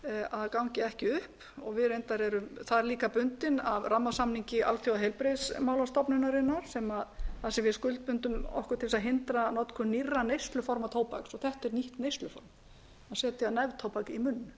að gangi ekki upp við reyndar erum þar líka bundin af rammasamningi alþjóðaheilbrigðismálastofnunarinnar þar sem við skuldbundum okkur til þess að hindra nýrra neysluform tóbaks þetta er nýtt neysluform að setja neftóbak í munn